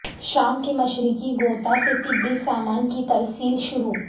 شام کے مشرقی غوطہ سے طبی سامان کی ترسیل شروع